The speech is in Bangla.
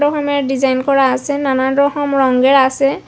ওখানে ডিজাইন করা আসে নানান রকম রঙ্গের আসে।